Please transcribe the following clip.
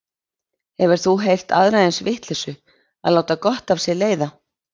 Hefur þú heyrt aðra eins vitleysu, að láta gott af sér leiða.